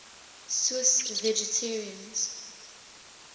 swiss vegetarians